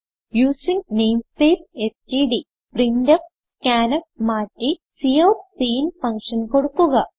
using namespace std printf scanf മാറ്റി cout cin function കൊടുക്കുക